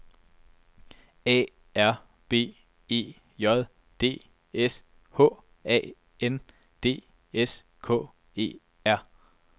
A R B E J D S H A N D S K E R